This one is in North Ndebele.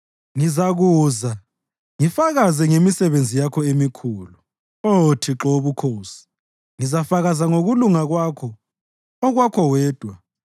Ngizakuza ngifakaze ngemisebenzi yakho emikhulu, Oh Thixo Wobukhosi; ngizafakaza ngokulunga kwakho, okwakho wedwa.